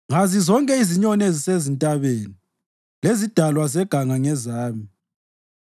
Ngazi zonke izinyoni ezisezintabeni, lezidalwa zeganga ngezami.